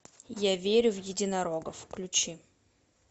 я верю в единорогов включи